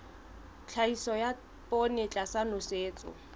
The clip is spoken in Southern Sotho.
tlhahiso ya poone tlasa nosetso